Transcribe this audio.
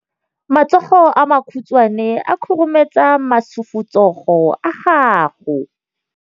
Matsogo a makhutshwane a khurumetsa masufutsogo a gago.